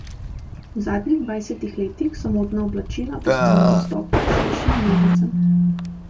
V zadnjih dvajsetih letih so modna oblačila postala dostopna širšim množicam.